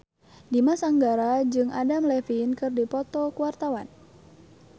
Dimas Anggara jeung Adam Levine keur dipoto ku wartawan